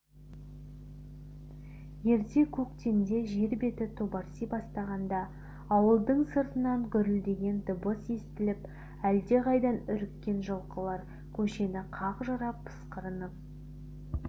ерте көктемде жер беті тобарси бастағанда ауылдың сыртынан гүрілдеген дыбыс естіліп әлдеқайдан үріккен жылқылар көшені қақ жара пысқырынып